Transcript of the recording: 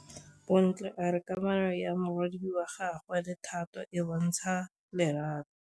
Bontle a re kamanô ya morwadi wa gagwe le Thato e bontsha lerato.